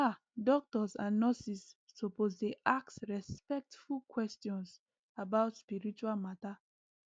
ah doctors and nurses suppose dey ask respectful questions about spiritual matter